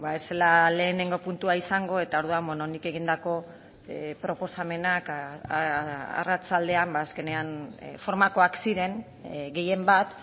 ez zela lehenengo puntua izango eta orduan nik egindako proposamenak arratsaldean azkenean formakoak ziren gehienbat